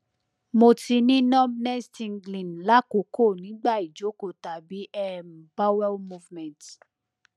mo ti ni numbness tingling lakoko nigba ijoko tabi um bowel movement